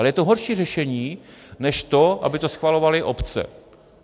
Ale je to horší řešení, než to, aby to schvalovaly obce.